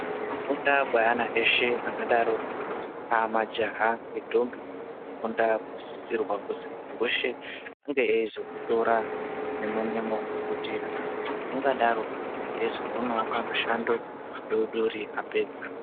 Kufunda kweana eshe akadaro majaha nendombi , kufunda kunosisirwa kuti mundu weshe unge aizokutora nemo nemo ngekuti muntu ungadaro aizowanawo kamushando apedza.